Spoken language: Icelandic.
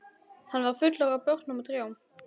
Hann var fullur af börnum og trjám.